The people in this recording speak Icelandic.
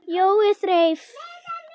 Jói þreif